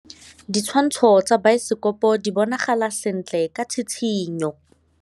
Ditshwantshô tsa biosekopo di bonagala sentle ka tshitshinyô.